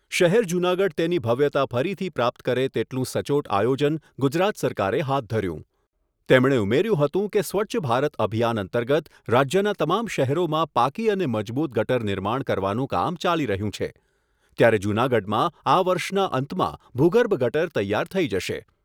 શહેર જૂનાગઢ તેની ભવ્યતા ફરીથી પ્રાપ્ત કરે તેટલું સચોટ આયોજન ગુજરાત સરકારે હાથ ધર્યું. તેમણે ઉમેર્યું હતું કે સ્વચ્છ ભારત અભિયાન અંતર્ગત રાજ્યના તમામ શહેરોમાં પાકી અને મજબૂત ગટર નિર્માણ કરવાનું કામ ચાલી રહ્યું છે, ત્યારે જૂનાગઢમાં આ વર્ષના અંતમાં ભૂગર્ભ ગટર તૈયાર થઈ જશે.